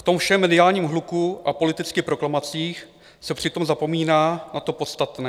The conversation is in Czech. V tom všem mediálním hluku a politických proklamacích se přitom zapomíná na to podstatné.